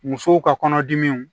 Musow ka kɔnɔdimiw